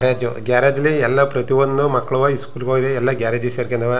Garage garage ಲ್ಲಿ ಎಲ್ಲ ಪ್ರತಿಯೊಂದು ಮಕ್ಕಳೂವ ಇಸ್ಕೂಲ್ಗೆ ಹೋಗಿ ಎಲ್ಲ ಗ್ಯಾರೇಜ್ ಗೆ ಸೇರ್ಕೊಂದವೇ .